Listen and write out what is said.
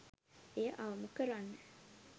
එය අවම කරන්න